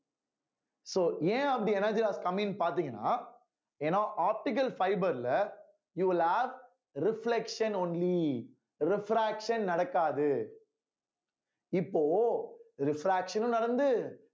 so ஏன் அப்படி energy has coming பார்த்தீங்கன்னா ஏன்னா optical fibre ல you will ask reflection only refraction நடக்காது இப்போ refraction ம் நடந்து